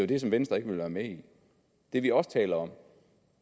det som venstre ikke ville være med i det vi også taler om